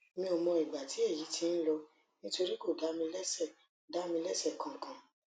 mi ò mọ ìgbà tí èyí ti ń lọ nítorí kò dá mi léṣe dá mi léṣe kankan